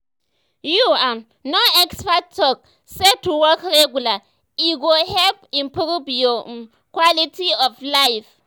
you um know experts talk say to walk regular e go um help improve your um quality of life.